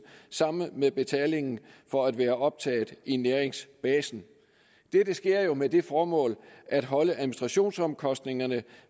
sammen med betalingen for at være optaget i næringsbasen dette sker jo med det formål at holde administrationsomkostningerne